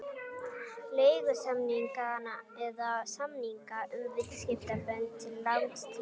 leigusamninga eða samninga um viðskiptasambönd til langs tíma.